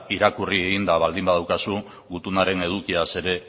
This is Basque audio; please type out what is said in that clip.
irakurri eginda baldin badaukazu gutunaren edukiaz ere